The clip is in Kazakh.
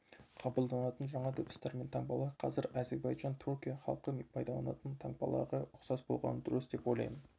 қабылданатын жаңа дыбыстар мен таңбалар қазір әзербайжан түркия халқы пайдаланатын таңбаларға ұқсас болғаны дұрыс деп ойлаймын